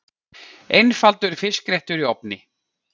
Einfaldur fiskréttur í ofni